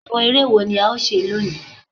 Àwọn eré wo la ó ṣe lónìí?